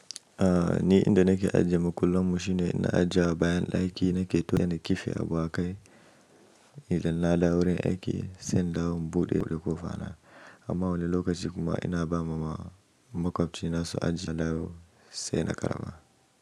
Ni inda nake ajiye makullanmu shine ina ajiyewa bayan ɗaki nake tuwon da kifi a buhakai, idan na dawo wurin aiki, sai in dawo in buɗe ko fara. Amma wani lokaci kuma ina ba ma makwabci na su ajiye idan na dawo sai na ƙarba.